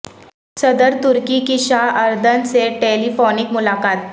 صدر ترکی کی شاہ اردن سے ٹیلی فونک ملاقات